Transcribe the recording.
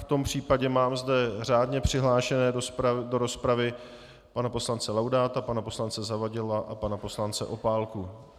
V tom případě zde mám řádně přihlášené do rozpravy pana poslance Laudáta, pana poslance Zavadila a pana poslance Opálky.